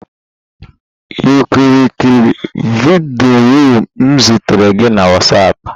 You kirie vidiyo m zitere gị na WhatsApp?